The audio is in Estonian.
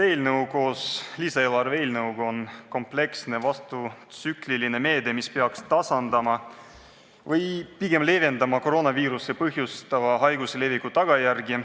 See eelnõu koos lisaeelarve seaduse eelnõuga on kompleksne vastutsükliline meede, mis peaks tasandama või pigem leevendama koroonaviiruse põhjustatava haiguse leviku tagajärgi.